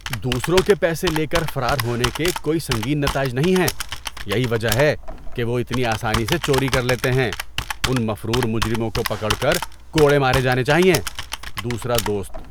دوسروں کے پیسے لے کر فرار ہونے کے کوئی سنگین نتائج نہیں ہیں۔ یہی وجہ ہے کہ وہ اتنی آسانی سے چوری کر لیتے ہیں۔ ان مفرور مجرموں کو پکڑ کر کوڑے مارے جانے چاہئیں۔ (دوسرا دوست)